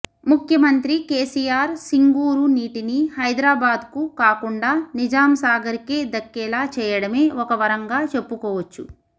ముఖ్యమంత్రి కేసిఆర్ సింగూరు నీటిని హైదరాబాద్కు కాకుండా నిజాంసాగర్కే దక్కేలా చేయడమే ఒక వరంగా చెప్పుకోవచ్చు